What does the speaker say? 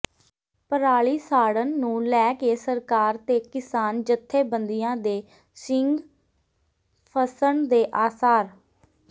ਪਰਾਲੀ ਸਾੜਨ ਨੂੰ ਲੈ ਕੇ ਸਰਕਾਰ ਤੇ ਕਿਸਾਨ ਜਥੇਬੰਦੀਆਂ ਦੇ ਸਿੰਙ ਫਸਣ ਦੇ ਆਸਾਰ